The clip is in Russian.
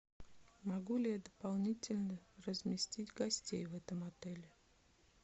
могу ли я дополнительно разместить гостей в этом отеле